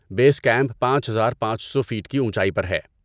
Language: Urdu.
بیس کیمپ پانچ ہزار پانچ سو فٹ کی اونچائی پر ہے